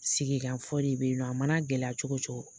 Sigi ka fɔ de be yen nɔ. A mana gɛlɛya cogo cogo